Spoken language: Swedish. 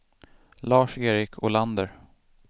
Lars-Erik Olander